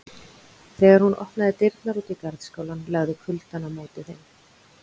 Þegar hún opnaði dyrnar út í garðskálann lagði kuldann á móti þeim.